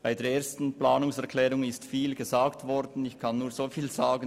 Zur Planungserklärung 1 wurde viel gesagt.